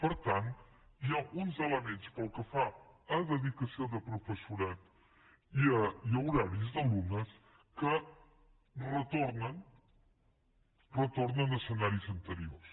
per tant hi ha uns elements pel que fa a dedicació de professorat i a horaris d’alumnes que retornen retornen a escenaris ante riors